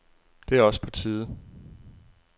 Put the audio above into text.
Det er også på tide.